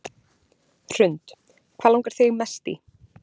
Hrund: Hvað langar þig mest í?